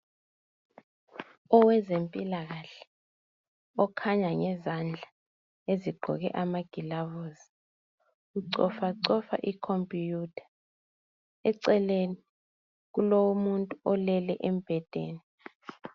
Owezempila kahle okhanya ngezandla eziqgoke amagilavusi ucofacofa ikhompuyutha eceleni kulomuntu olele embhedeni